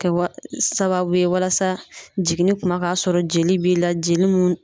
Kɛwa sababu ye walasa jiginni kuma k'a sɔrɔ jeli b'i la jeli mun